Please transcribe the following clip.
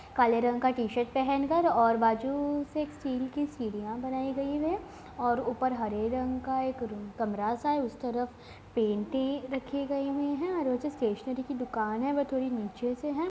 काले रंग का टी-शर्ट पहन कर और बाजू से स्टील की सीढ़ियां बनाई गई है और ऊपर हरे रंग का एक रूम - कमरा-सा है| उस तरफ पेंटिंग रखी गई हुई है और वो जो स्टैशनेरी की दुकान है वह थोड़ी नीचे से है।